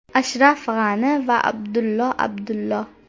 Ashraf G‘ani va Abdullo Abdullo.